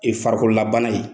farikololabana ye